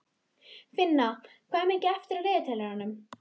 Finna, hvað er mikið eftir af niðurteljaranum?